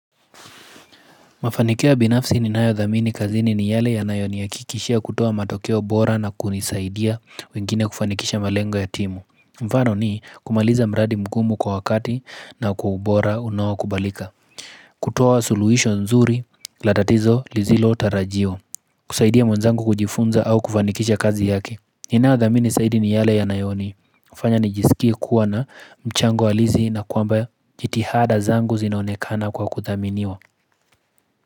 Mafanikio binafsi ninayo dhamini kazini ni yale yanayo ni ya kikishia kutoa matokeo bora na kunisaidia wengine kufanikisha malengo ya timu. Mfano ni kumaliza mradi mgumu kwa wakati na kwa ubora unao kubalika. Kutoa suluisho nzuri, latatizo li zilo tarajio. Kusaidia mwenzangu kujifunza au kufanikisha kazi yake. Ninayo dhamini saidi ni yale ya nayoni. Fanya nijisikie kuwa na mchango walizi na kwamba jitihada zangu zinaonekana kwa kuthaminiwa.